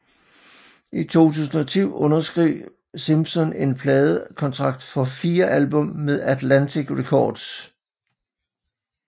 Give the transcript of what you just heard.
I 2010 underskrev Simpson en pladekontrakt for fire album med Atlantic Records